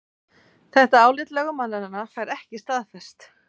Þetta álit lögmannanna fær ekki staðist